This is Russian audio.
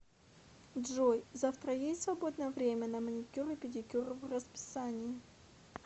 джой завтра есть свободное время на маникюр и педикюр в расписании